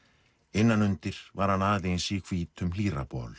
innan undir var hann aðeins í hvítum